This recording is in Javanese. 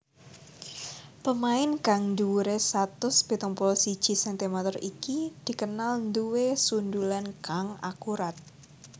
Pemain kang dhuwuré satus pitung puluh siji centimeter iki dikenal nduwé sundulan kang akurat